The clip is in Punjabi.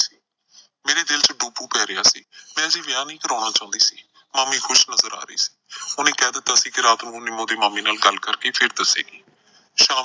ਚਾਹ ਚ . ਪਏ ਰਿਹਾ ਸੀ, ਮੈਂ ਅਜੇ ਵਿਆਹ ਨਈਂ ਕਰਾਉਣਾ ਚਾਹੁੰਦੀ ਸੀ, ਮਾਮੀ ਖੁਸ਼ ਨਜ਼ਰ ਆ ਰਹੀ ਸੀ। ਉਹਨੇ ਕਹਿ ਦਿੱਤਾ ਸੀ ਕਿ ਰਾਤ ਨੂੰ ਨਿੰਮੋ ਦੇ ਮਾਮੇ ਨਾਲ ਗੱਲ ਕਰਕੇ ਫਿਰ ਦੱਸੇਗੀ।